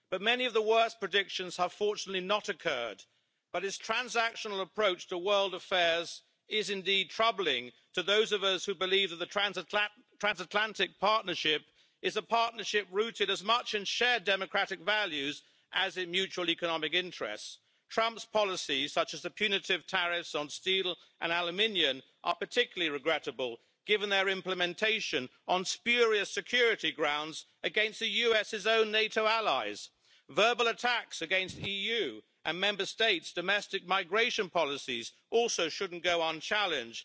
Many of the worst predictions have fortunately not occurred, but his transactional approach to world affairs is indeed troubling to those of us who believe that the transatlantic partnership is a partnership rooted as much in shared democratic values as in mutual economic interests. Trump's policies, such as the punitive tariffs on steel and aluminium, are particularly regrettable, given their implementation on spurious security grounds against the US' own NATO allies, and his verbal attacks on EU and Member States' domestic migration policies also shouldn't go unchallenged.